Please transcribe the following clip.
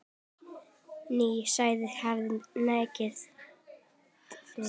Ný saga hafi tekið við.